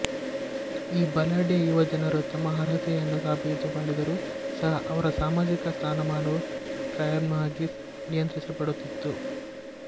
ಈ ಬಲಾಢ್ಯ ಯುವ ಜನರು ತಮ್ಮ ಅರ್ಹತೆಯನ್ನು ಸಾಬೀತುಮಾಡಿದ್ದರೂ ಸಹ ಅವರ ಸಾಮಾಜಿಕ ಸ್ಥಾನಮಾನವು ಕಾಯಮ್ಮಾಗಿ ನಿಯಂತ್ರಿಸಲ್ಪಡುತ್ತಿತ್ತು